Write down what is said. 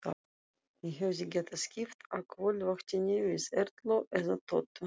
Ég hefði getað skipt á kvöldvaktinni við Erlu eða Tótu.